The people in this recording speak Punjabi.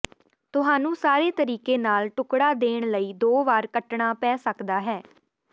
ਤੁਹਾਨੂੰ ਸਾਰੇ ਤਰੀਕੇ ਨਾਲ ਟੁਕੜਾ ਦੇਣ ਲਈ ਦੋ ਵਾਰ ਕੱਟਣਾ ਪੈ ਸਕਦਾ ਹੈ